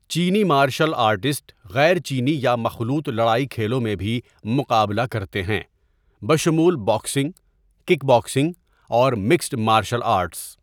چینی martial artist غیر چینی یا مخلوط لڑائی کھیلوں میں بھی مقابلہ کرتے ہیں بشمول باکسنگ، کک باکسنگ اور مکسڈ مارشل آرٹس۔